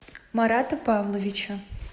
марата павловича